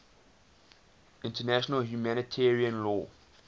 international humanitarian law